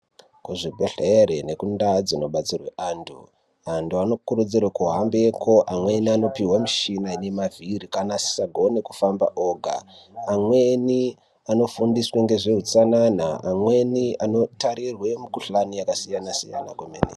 Kuzvibhedhleri nekundaa dzinobatsirwe antu, antu anokurudzirwa kuhambeko amweni anopiwe mishina ine mavhiri kana asisagone kufamba oga, amweni anofundiswe ngezve utsanana, amweni anotarirwe mikhuhlane yakasiyana siyana kwemene.